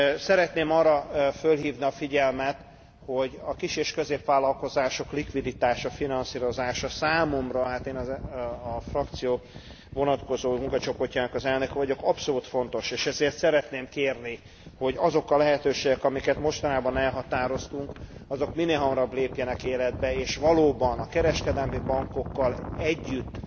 Szeretném arra felhívni a figyelmet, hogy a kis és középvállalkozások likviditása, finanszírozása számomra én a frakció vonatkozó munkacsoportjának az elnöke vagyok abszolút fontos, és ezért szeretném kérni, hogy azok a lehetőségek, amelyeket mostanában elhatároztunk, azok minél hamarabb lépjenek életbe, és valóban a kereskedelmi bankokkal együtt